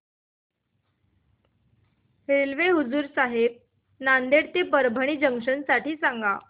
railway Hazur Sahib Nanded ते Parbhani junction साठी सांगा